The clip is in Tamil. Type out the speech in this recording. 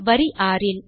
வரி ஆறில்